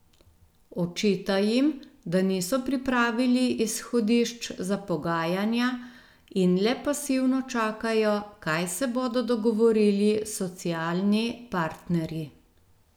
Očita jim, da niso pripravili izhodišč za pogajanja in le pasivno čakajo, kaj se bodo dogovorili socialni partnerji.